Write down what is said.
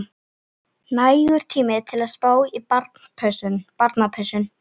Nægur tími til að spá í barnapössun.